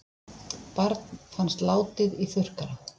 Barn fannst látið í þurrkara